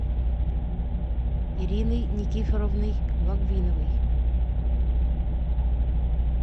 ириной никифоровной логвиновой